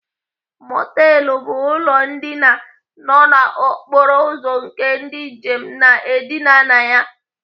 Mọtelụ bụ ụlọ ndina nọ n'okporo ụzọ nke ndị njem na-edina na ya..